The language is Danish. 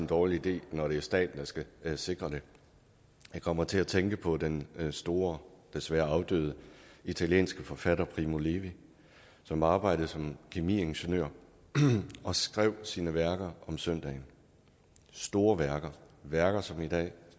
dårlig idé når det er staten der skal sikre det jeg kommer til at tænke på den store desværre afdøde italienske forfatter primo levi som arbejdede som kemiingeniør og skrev sine værker om søndagen store værker værker som i dag